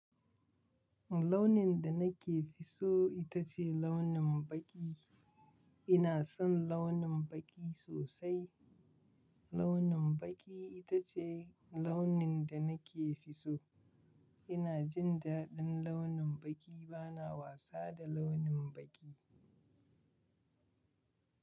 Launin da nake fi so ita ce launin baƙi. Ina son launin baƙi sosai. Launin baƙi ita ce launin da nake fi so. Ina jin daɗin launin baƙi. Bana wasa da launin baƙi.